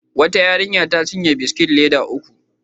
Wata yarinya ta cinye biskit leda uku.